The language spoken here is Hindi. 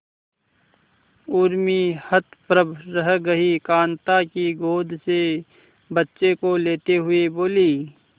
उर्मी हतप्रभ रह गई कांता की गोद से बच्चे को लेते हुए बोली